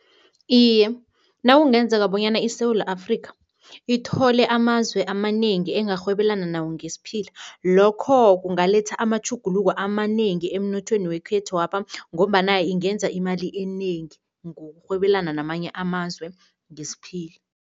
Iye, nakungenzeka bonyana iSewula Afrika ithole amazwe amanengi engarhwebelena nawo ngesiphila, lokho kungaletha amatjhuguluko amanengi emnothweni wekhethwapha ngombana ingenza imali enengi, ngokurhwebelana namanye amazwe ngesiphila.